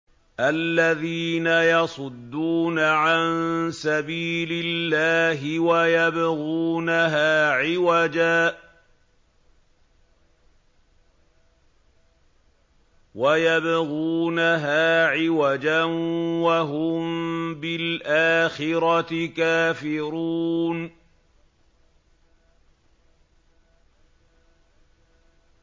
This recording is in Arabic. الَّذِينَ يَصُدُّونَ عَن سَبِيلِ اللَّهِ وَيَبْغُونَهَا عِوَجًا وَهُم بِالْآخِرَةِ كَافِرُونَ